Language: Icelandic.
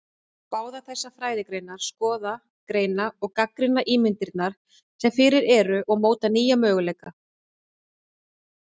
Báðar þessar fræðigreinar skoða, greina og gagnrýna ímyndirnar sem fyrir eru og móta nýja möguleika.